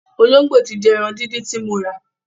Ológbò ti jẹ ẹran díndín ti mo rà.